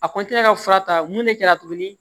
A ka fura ta mun de kɛra tuguni